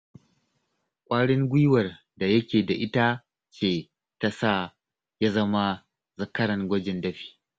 Ƙwarin gwiwar da yake da ita ce ta sa ya zama zakaran gwajin dafi